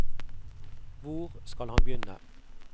Hvor skal han begynne?